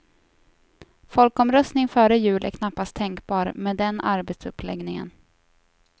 Folkomröstning före jul är knappast tänkbar med den arbetsuppläggningen.